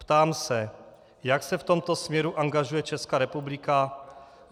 Ptám se, jak se v tomto směru angažuje Česká republika.